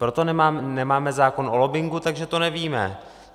Proto nemáme zákon o lobbingu, takže to nevíme.